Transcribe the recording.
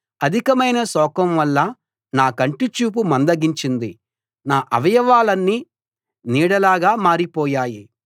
అధికమైన శోకం వల్ల నా కంటి చూపు మందగించింది నా అవయవాలన్నీ నీడలాగా మారిపోయాయి